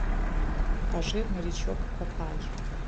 покажи морячок папай